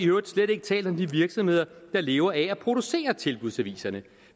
øvrigt slet ikke talt om de virksomheder der lever af at producere tilbudsaviserne